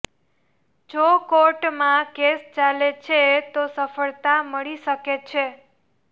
જો કોર્ટમાં કેસ ચાલે છે તો સફળતા મળી શકે છે